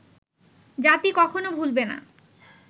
জাতি কখনো ভুলবে না